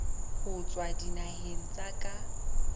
ho tswa dinaheng tsa ka